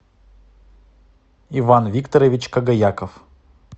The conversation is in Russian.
иван викторович когояков